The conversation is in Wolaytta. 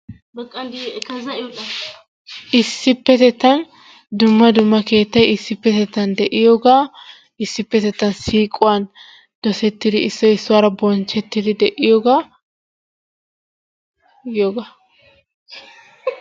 Issippetettan dumma dumma keettay issipetettan de'iyooga issppitettea siquwaan dosettidi issoy issuwaara bonchchettidi de'iyoogaa giyoogaa.